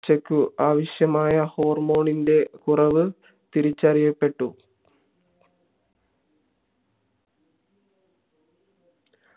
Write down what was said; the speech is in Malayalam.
ചക്കു ആവിശ്യമായ hormone കുറവ് തിരിച്ചറിയപ്പെട്ടു